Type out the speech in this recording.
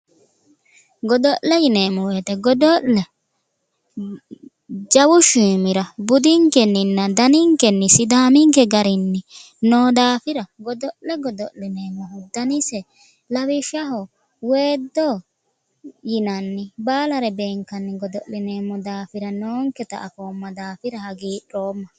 Godo'le yineemmo woyte godo'le jawu shiimira budinkenniinna daninkenni sidaaminke garinni noo daafira godo'le godo'lineemmohu danise lawishshaho weeddo yinanni baalare beenkanni godo'lineemmo daafira noonketa afoomma daafira hagiidhoomma